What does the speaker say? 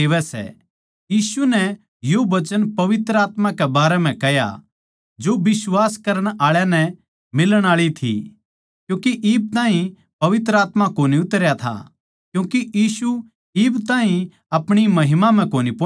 यीशु नै यो वचन पवित्र आत्मा कै बारै म्ह कह्या जो बिश्वास करण आळा नै मिलण आळी थी क्यूँके इब ताहीं पवित्र आत्मा कोनी उतरया था क्यूँके यीशु इब ताहीं अपणी महिमा म्ह कोनी पोहुच्या था